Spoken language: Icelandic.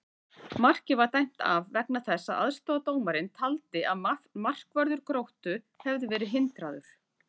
Markið var dæmt af vegna þess að aðstoðardómarinn taldi að markvörður Gróttu hefði verið hindraður!